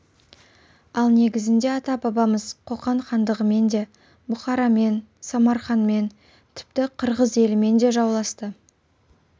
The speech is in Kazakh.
ал негізінде ата-бабамыз қоқан хандығымен де бұхарамен самарқанмен тіпті қырғыз елімен де жауласты